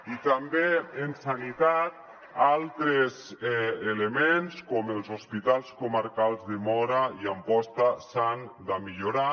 i també en sanitat altres elements com els hospitals comarcals de móra i am·posta s’han de millorar